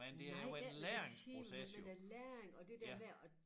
Nej det men den tid men den der læring og det der med at